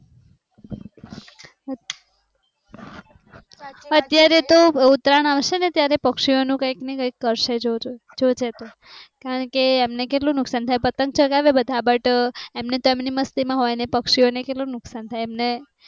અત્યારે તો ઉત્તરાયણ આવશે ને ત્યારે પક્ષીઓ નુ કંઈક ને કંઈક કરશે જોજો જોજે તુ કારણ કે એમને કેટલુ નુકસાન થાય પતંગ ચગાવે બધા બટ એમને તો એમની મસ્તી મા હોય ને પક્ષીઓ ને કેટલુ નુકસાન થાય એમને